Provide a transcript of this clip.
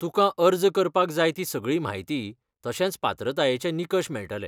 तुकां अर्ज करपाक जाय ती सगळी म्हायती तशेंच पात्रतायेचें निकश मेळटले.